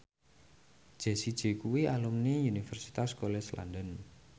Jessie J kuwi alumni Universitas College London